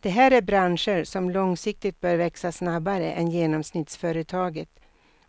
Det här är branscher som långsiktigt bör växa snabbare än genomsnittsföretaget